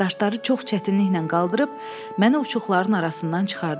Daşları çox çətinliklə qaldırıb, məni uçuqların arasından çıxardılar.